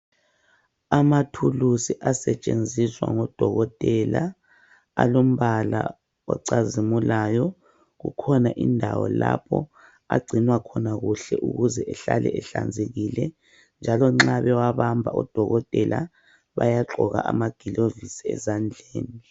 Amathulusi asetshenziswa ngodokotela alombala ocazimulayo. Kukhona indawo lapho agcinwa khona kuhle ukuze ehlale ehlanzekile njalo nxa bewabamba odokotela bayagqoka amagilovisi ezandleni.